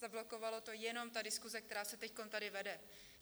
Zablokovala to jenom ta diskuse, která se teď tady vede.